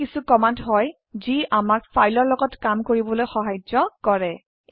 এইবোৰ কিছু কমান্ড হয় যি আমাক ফাইলৰ লগত কাম কৰিবলৈ সাহায্য কৰে